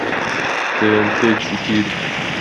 тнт четыре